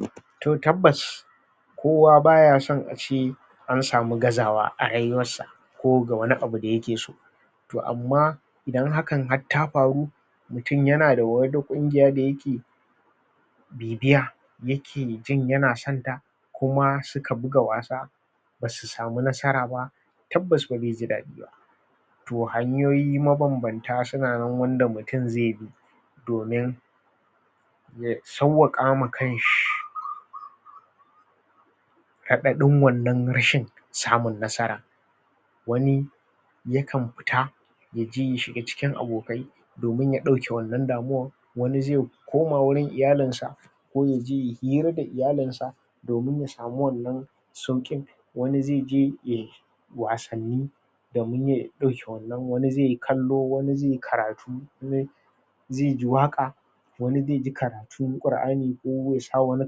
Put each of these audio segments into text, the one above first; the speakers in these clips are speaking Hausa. um to tabbas kowa bayaso ace an samu gazawa a rayuwarsa ko ga wani abu da yake so to amma idan hakan gar ta faru mutum yan da wada kungiya dayake bibiya yake jin yana sonta kuma suka buga wasa basu samu nasara ba tabbas ba ze ji dadiba to hanyo suna nan ma banbanta wanda mutum ze bi domin ya sauwaka kanshi radadin wannan rashin samun nasara wani yakan futa yaje yashoiga cikin abokai domin yadake wannan damuwa wani ze koma wurin iyalinsa ko yaje yayi hira da iyalinsa domin yasamu wannan saukin wani zeje yayi wasanni domin ya dauke wannan wani zeyi kallo wani zeyi karatu um zeyi waka wani zeyi karatun kur'ani ko yasa wani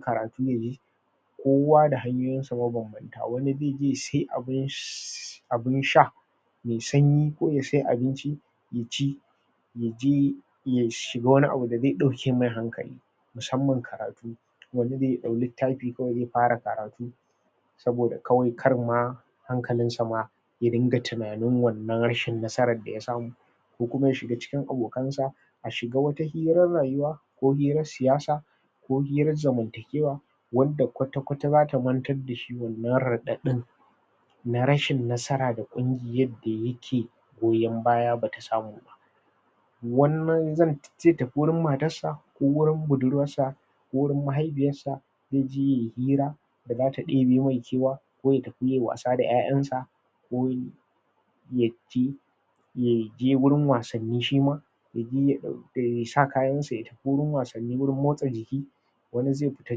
karatu yayi kowa da hanyoyin sa mabanbanta a wani zeje yase abun um sha me sanyi ko yase abinci ya ci yaje yashiga wani abu da ze dauke mai hankali musamman karatu wani ze dau littafi kawai ze yafara karatu saboda kawai karma hankalinsa ma yadinka tunanin wannan rashin nasaran daya samu ko kuma yashiga cikin abokansa a shiga wani firan rayuwa ko firan siyasa ko firan zamantakewa wanda kwata-kwata zata mantar dashi wannan radadin na rashin nasara da kuma yadda yake goyon baya bata samu ba wani nan ze tafi wurin matar sa ko wurin budurwarsa ko wurin mahaifiyarsa zeje yayi fira da zata debe mai kewa ko yatafi yayi wasa da yayansa ko ya tafi ya je wurin wasan ni shima yasa kayansa ya taffi wurin wasan ni wurin motsa jiki wani ze fita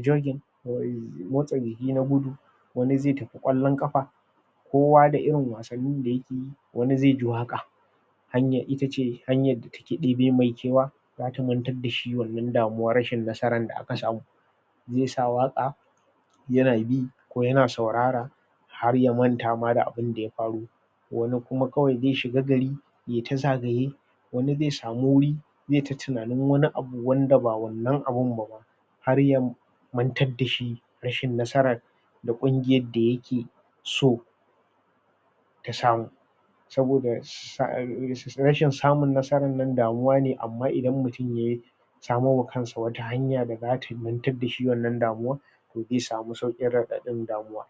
jogin um motsa jiki na gudu wani ze tafi kwallon kafa kowa da irin wasan nin da uyake yi wani ze ji waka hanyar itace hanyar da take deba masa kewa ta mantar dashi wannan damuwar rashi da aka samu se sa waka yana bi ko yana saurara har yamanta ma da abun da ya faru wani kuma kawai ze shiga gari ye ta zagaye wani ze samu wuri zeta tunin wani abu wanda ba wannan abun bama har yamantar dashi rashin nasar na kungiyar da yake so ta samu saboda um rashin samun nasaran damuwane amma idan mutum yayi samowa kansa wata hanya da zata mantar dashi wannan damuwa ze samu saukin radadin damuwa